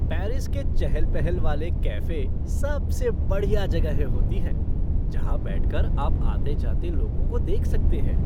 Paris के चहल पहल वाले कैफे़े सबसे बढ़िया जगहें होती हैं जहाँ बैठ कर आप आते जाते लोगों को देख सकते हैं।